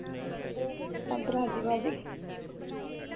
ਸਭ ਰਾਜੀ ਵਾਜੀ